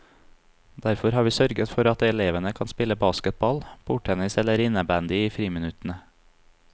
Derfor har vi sørget for at elevene kan spille basketball, bordtennis eller innebandy i friminuttene.